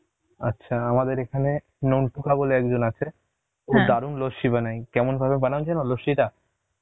আচ্ছা, আমাদের এখানে বলে একজন আছে লস্যি বানায় কেমন ভাবে বানায় যেন লস্যিটা?